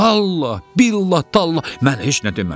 Vallahi, billah, tallah, mən heç nə deməmişəm.